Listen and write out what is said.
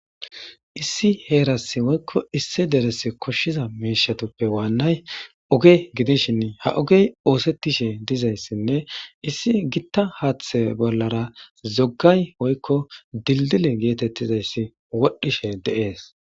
Issi heeras woykko issi derese koshshiza mIIshatUppe waannay oge gidishin ha ogey oosettishe dizayssinne issi gitta haaththe bollara zoggay woykko dilddile geetettizayssi wodhdhishe de7ees.